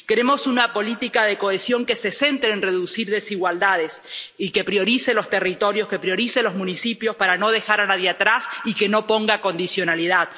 Queremos una política de cohesión que se centre en reducir desigualdades y que priorice los territorios, que priorice los municipios para no dejar a nadie atrás y que no ponga condicionalidad.